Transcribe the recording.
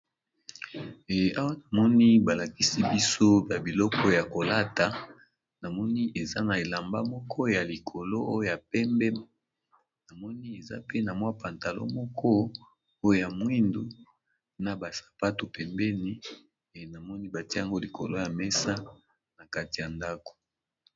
Awa namoni balakisi biso biloko ya kolata namoni eza na elamba moko nalikolo oyo yapembe namoni eza pantalon moko oyo ya mwindu na ba sapato pembeni batiye yango likolo ya mesa na kati ya ndako.